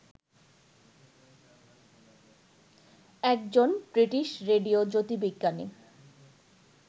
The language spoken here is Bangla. একজন ব্রিটিশ রেডিও জ্যোতির্বিজ্ঞানী